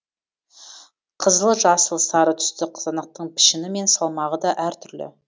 қызыл жасыл сары түсті қызанақтың пішіні мен салмағы да әртүрлі